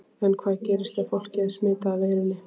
En hvað gerist ef fólkið er smitað af veirunni?